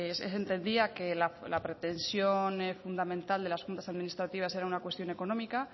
se entendía que la pretensión fundamental de las juntas administrativas era una cuestión económica